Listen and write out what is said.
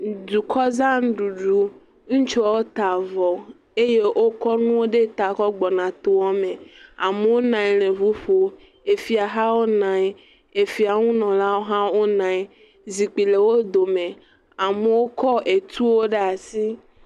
Dukɔzãɖuɖu ŋutsuawo ta avɔ eye wokɔ nuwo ɖe ta kɔ gbɔna toa me. Amowo nɔ anyi le ʋu ƒom. Efia hawo nɔ anyi. Efiawo nunɔlawo hã wonɔ anyi. Zikpui le wodome. Amowo kɔ etuwo ɖe asi.